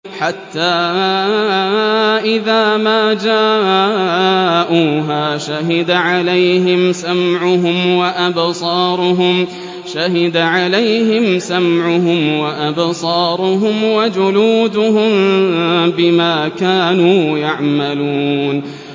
حَتَّىٰ إِذَا مَا جَاءُوهَا شَهِدَ عَلَيْهِمْ سَمْعُهُمْ وَأَبْصَارُهُمْ وَجُلُودُهُم بِمَا كَانُوا يَعْمَلُونَ